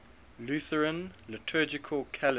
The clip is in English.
lutheran liturgical calendar